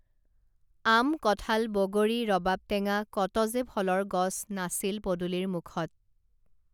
আম কঠাল বগৰী ৰবাব টেঙা কত যে ফলৰ গছ নাছিল পদূলীৰ মূখত